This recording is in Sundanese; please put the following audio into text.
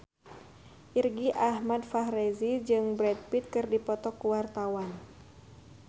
Irgi Ahmad Fahrezi jeung Brad Pitt keur dipoto ku wartawan